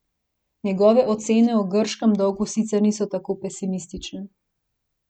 Njegove ocene o grškem dolgu sicer niso tako pesimistične.